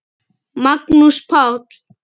Magnús Páll.